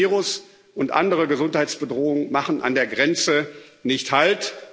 Ein Virus und andere Gesundheitsbedrohungen machen an der Grenze nicht halt.